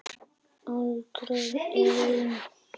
Aldrei ein